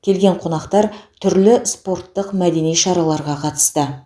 келген қонақтар түрлі спорттық мәдени шараларға қатысты